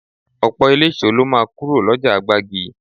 Ọ̀pọ̀ eléso lọ máa kúrò lọ́jà gbági